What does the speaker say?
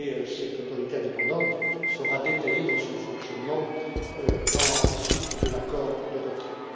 Cette autorité indépendante sera détaillée dans son fonctionnement dans la suite de l'accord de retrait.